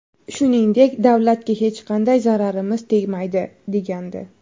Shuningdek, davlatga hech qanday zararimiz tegmaydi”, degandi .